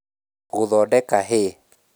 Gũthondeka hay